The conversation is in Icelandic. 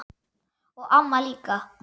Og amma líka.